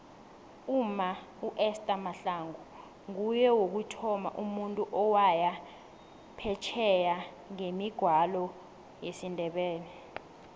umma uester mahlangu nguye wokuthoma umuntu owaya phesheye ngemigwalo yesindebele